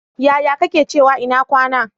Yaya kake cewa ina kwana?